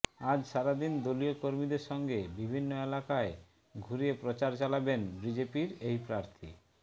আজ সারাদিন দলীয় কর্মীদের সঙ্গে বিভিন্ন এলাকায় ঘুরে প্রচার চালাবেন বিজেপির এই প্রার্থী